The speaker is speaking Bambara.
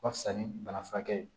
Ka fisa ni bana furakɛ ye